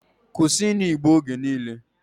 Kwusi inu igbo oge niile!